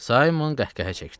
Saymon qəhqəhə çəkdi.